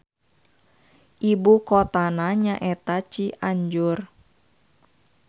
Ibukotana nyaeta Cianjur.